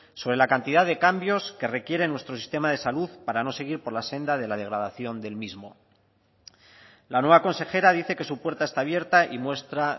sobre la cantidad de cambios que requiere nuestro sistema de salud para no seguir por la senda de la degradación del mismo la nueva consejera dice que su puerta está abierta y muestra